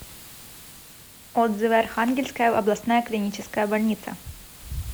отзывы архангельская областная клиническая больница